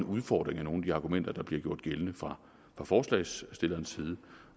udfordrer jeg nogle af de argumenter der bliver gjort gældende fra forslagsstillerens side